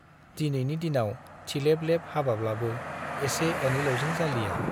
दिनैनि दिनाव थिलेब-लेब हाबाब्लाबो एसे एनैल'जों जालिया।